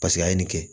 Paseke a ye nin kɛ